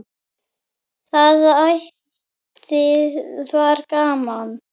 Það ætíð var gaman.